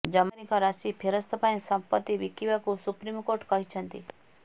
ଜମାକାରୀଙ୍କ ରାଶିି ଫେରସ୍ତ ପାଇଁ ସମ୍ପତ୍ତି ବିକିବାକୁ ସୁପ୍ରିମ୍କୋର୍ଟ କହିଛନ୍ତି